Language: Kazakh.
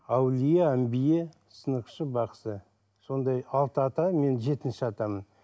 әулие әмбие сынықшы бақсы сондай алты ата мен жетінші атамын